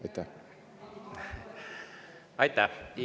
Aitäh!